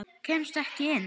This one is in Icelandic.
Kemstu ekki inn?